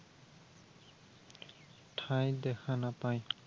ঠাই দেখা নাপায়।